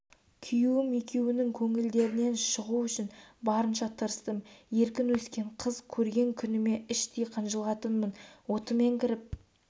күйеуім екеуінің көңілдерінен шығу үшін барынша тырыстым еркін өскен қыз көрген күніме іштей қынжылатынмын отымен кіріп